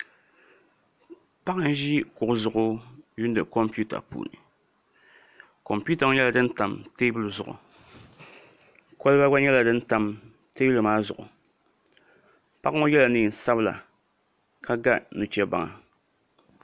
Paɣa n ʒi kuɣu zuɣu lihiri kompiuta puuni kompiuta ŋo nyɛla din tam teebuli zuɣi kolba gba nyɛla din tam teebuli maa zuɣu paɣ ŋo yɛla neen sabila ka ga nu chɛ baŋa